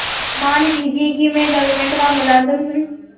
मान लीजिए कि मैं गवर्नमेंट का मुलाजिम हूँ